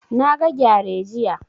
Na ga gyare jiya